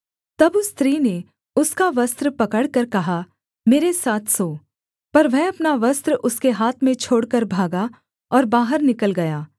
तब उस स्त्री ने उसका वस्त्र पकड़कर कहा मेरे साथ सो पर वह अपना वस्त्र उसके हाथ में छोड़कर भागा और बाहर निकल गया